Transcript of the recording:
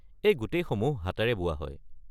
এই গোটেইসমূহ হাতেৰে বোৱা হয়।